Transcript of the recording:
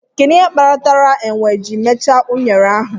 Kedu ihe kpatara enwe ji mechaa unere ahụ?